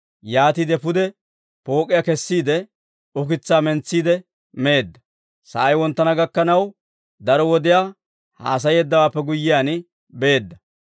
Yaatiide pude pook'iyaa kesiide, ukitsaa mentsiide meedda; sa'ay wonttana gakkanaw, daro wodiyaa haasayeeddawaappe guyyiyaan beedda.